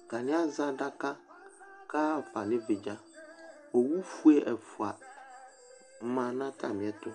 Atani azɛ adaka kʋ ayaɣa fa nʋ ɩvɩ dza Owufue ɛfʋa ma nʋ atami ɛtʋ